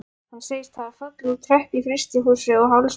Hann segist hafa fallið úr tröppu í frystihúsi og hálsbrotnað.